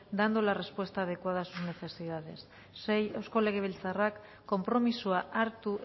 dando la respuesta adecuada a sus necesidades sei eusko legebiltzarrak konpromisoa hartu